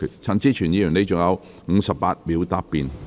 陳志全議員，你還有58秒答辯。